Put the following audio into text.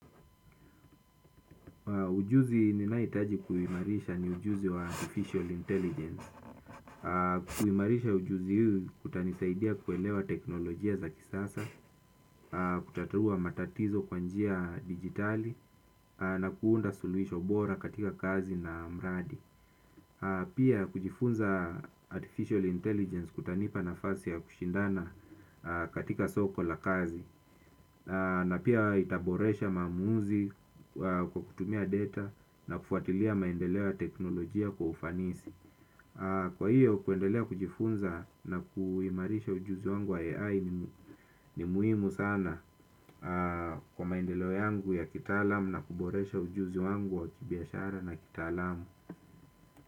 Ujuzi ni ninaohitaji kuimarisha ni ujuzi wa Artificial Intelligence. Kuimarisha ujuzi huu utanisaidia kuelewa teknolojia za kisasa, kutatua matatizo kwa njia digitali, na kuunda suluhisho bora katika kazi na mradi. Ujuzi ni ninaohitaji kuimarisha ni ujuzi wa Artificial Intelligence. Kuimarisha ujuzi kutanisaidia kuelewa teknolojia za kisasa, kutatua matatizo kwa njia digitali, na kuunda suluhisho bora katika kazi na mradi. Pia kujifunza Artificial Intelligence kutanipa nafasi ya kushindana katika soko la kazi.